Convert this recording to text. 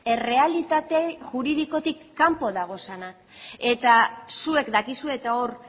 errealitate juridikotik kanpo daudenak eta zuek dakizue eta hor